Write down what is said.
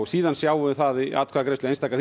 síðan sjáum við það í atkvæðagreiðslu einstaka